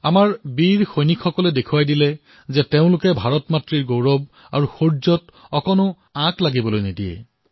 আমাৰ বীৰ সৈনিকসকলে দেখুৱাই দিছে যে তেওঁলোকে কেতিয়াও ভাৰতৰ গৌৰৱত আঁচোৰ পৰিবলৈ নিদিয়ে